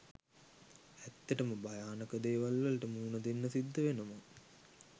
ඇත්තටම භයානක දේවල් වලට මුහුණදෙන්න සිද්ධ වෙනවා